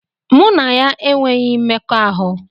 Mụ na ya enweghị mmekọahụ.